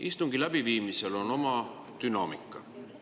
Istungi läbiviimisel on oma dünaamika.